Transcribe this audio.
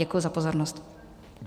Děkuji za pozornost.